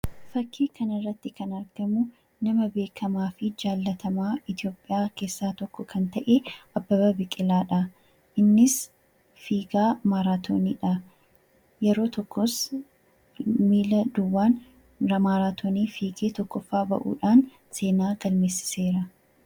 Fakkii kanarraatti kan argamu nama beekkamaafi jaallatamaa Itoopiyaa keessaa tokko kan ta'e, Abbabaa Biqilaadha. Innis fiigaa maraatooniidha. Yeroo tokkos miila duwwaan maraatoonii fiigee tokkoffaa bahuudhaan seenaa galmeessiseera.